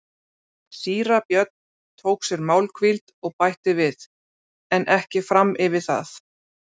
Síra Björn tók sér málhvíld og bætti við:-En ekki fram yfir það.